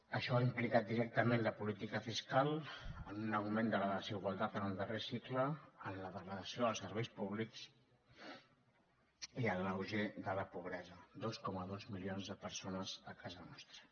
això ha implicat directament la política fiscal en un augment de la desigualtat en el darrer cicle en la degradació dels serveis públics i en l’auge de la pobresa dos coma dos milions de persones a casa nostra